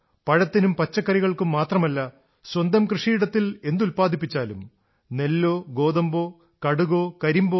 പഴത്തിനും പച്ചക്കറികൾക്കും മാത്രമല്ല സ്വന്തം കൃഷിയിടത്തിൽ എന്തുത്പാദിപ്പിച്ചാലും നെല്ലോ ഗോതമ്പോ കടുകോ കരിമ്പോ